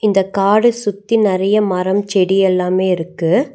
இந்த காட சுத்தி நெறைய மரம் செடி எல்லாமே இருக்கு.